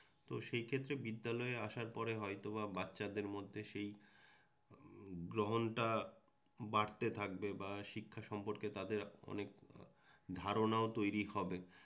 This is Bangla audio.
তো সেই ক্ষেত্রে বিদ্যালয়ে আসার পরে হয়তোবা বাচ্চাদের মধ্যে সেই গ্রহণটা বাড়তে থাকবে বা শিক্ষা সম্পর্কে তাদের অনেক ধারণাও তৈরি হবে